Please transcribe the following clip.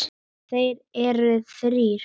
Þeir eru þrír